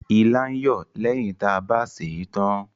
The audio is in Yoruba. Ilá ń yọ̀ lẹ́yìn ta bá sèe tán.